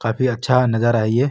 काफी अच्छा नजारा है ये।